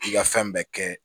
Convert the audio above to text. I ka fɛn bɛɛ kɛ